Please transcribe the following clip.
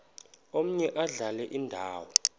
omaye adlale indawo